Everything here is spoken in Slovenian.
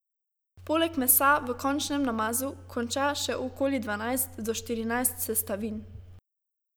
Poleg mesa v končnem namazu konča še okoli dvanajst do štirinajst sestavin!